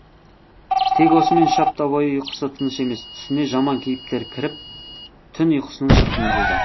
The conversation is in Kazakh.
тек осымен үш апта бойы ұйқысы тыныш емес түсіне жаман кейіптер кіріп түн ұйқысының шырқын бұзуда